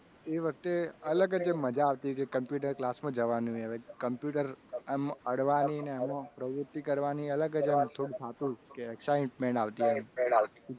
એ વાત એ અલગ રીતે મજા આવતી computer class માં જવાનું એ હવે computer આમ અડવાનીને એમાં પ્રવૃત્તિ કરવાની અલગ જ આમ થોડું ફાવતું કે excitement આવતી. એમ ઉતેજના